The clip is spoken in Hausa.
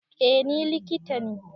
Eh ni likita ne